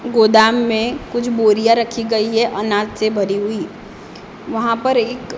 गोदाम में कुछ बोरियां रखी गई है अनाज से भरी हुई वहाँ पर एक--